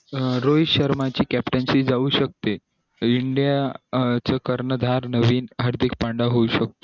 अं रोहित शर्मा ची captain seat जाऊ शकते india च कर्णधार नवीन हार्दिक पंड्या होऊ शकतो